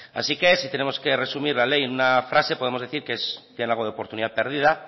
así que si tenemos que resumir la ley en una frase podemos decir que tiene algo de oportunidad perdida